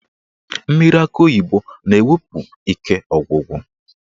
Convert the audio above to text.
Mmiri akị oyibo na-ewepụ ike ọgwụgwụ.